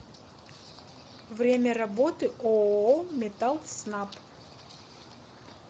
время работы ооо металлснаб